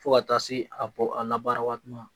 Fo ka taa se a bɔ a labaara waati ma